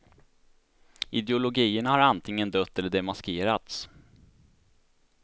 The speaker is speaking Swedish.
Ideologierna har antingen dött eller demaskerats.